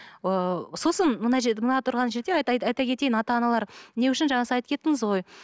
ыыы сосын мына мына тұрған жерде айта кетейін ата аналар не үшін жаңа сіз айтып кеттіңіз ғой